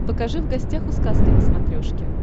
покажи в гостях у сказки на смотрешке